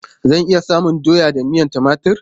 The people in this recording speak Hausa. Zan iya samun doya da miyan timatur?